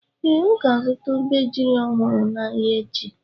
Ee, ọ ga-azụta obejiri ọhụrụ n'ahịa echi.